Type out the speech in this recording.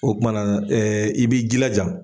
O kumana i b'i jilaja